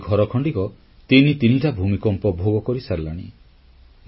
ଆଉ ମୋର ଏଇ ଘରଖଣ୍ଡିକ ତିନି ତିନିଟା ଭୂମିକମ୍ପ ଭୋଗ କରିସାରିଲାଣି